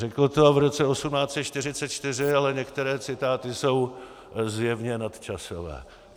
Řekl to v roce 1844, ale některé citáty jsou zjevně nadčasové.